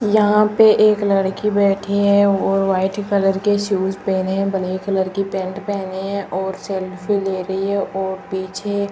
यहां पे एक लड़की बैठी है वो वाइट कलर के शूज पहने है ब्लैक कलर की पैंट पहने हैं और सेल्फी ले रही है और पीछे --